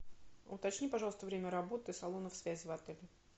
уточни пожалуйста время работы салонов связи в отеле